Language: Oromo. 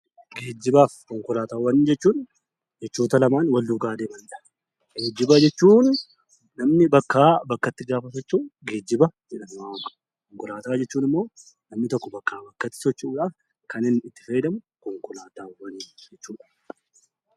Geejjibaa fi konkolaataawwan jechuun jechoota lamaan wal faana adeemaniidha. Geejjiba jechuun namni bakkaa bakkatti gaafa socho'u geejjiba jedhama. Konkolaataawwan jechuun immoo namni tokko bakkaa bakkatti socho'uuf kan inni itti fayyadamu konkolaataawwan jedhama.